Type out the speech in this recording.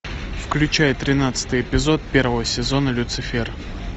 включай тринадцатый эпизод первого сезона люцифер